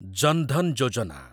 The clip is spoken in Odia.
ଜନ ଧନ ଯୋଜନା